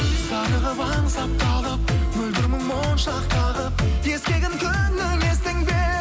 зарығып аңсап талып мөлдір мұң моншақ тағып ескегін күннің естің бе